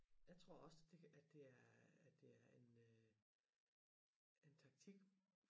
Jeg også at det at det er det er en øh er en taktik